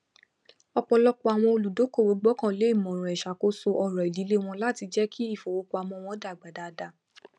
ọpọlọpọ àwọn olùdókòwò gbọkànlé ìmọràn ìṣàkóso ọrọ ìdílé wọn láti jẹ kí ifowópamọ wọn dàgbà dáadáa